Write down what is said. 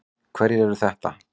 Hverjir eru þetta?